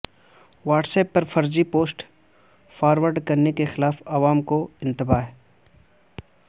what's app پر فرضی post forward کرنے کے خلاف عوام کو انتباہ